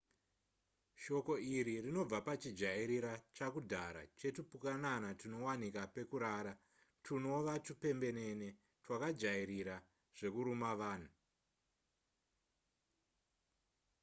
shoko iri rinobva pachijairira chakudhara chetupukanana tunowanika pekurara twunova tupembenene twakajairira zvekuruma vanhu